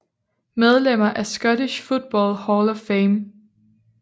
Medlemmer af Scottish Football Hall of Fame